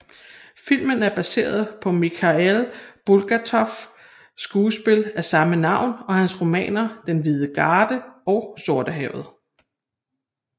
Filmen er baseret på Mikhail Bulgakovs skuespil af samme navn og hans romaner Den hvide garde og Sortehavet